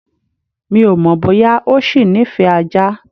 Mi ò mọ̀ bóyá ọ ṣì nífẹ̀ẹ́ ajá.